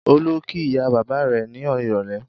Olú kí ìyá-bàbá rẹ̀ ní ìrọ́lẹ́?